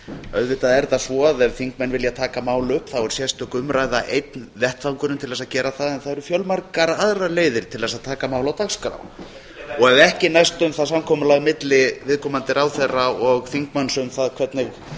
auðvitað er það svo að ef þingmenn vilja taka mál upp þá er sérstök umræða einn vettvangurinn til að gera það en það eru fjölmargar aðrar leiðir til að taka mál á dagskrá og ef ekki næst um það samkomulag milli viðkomandi ráðherra og þingmanns um það hvernig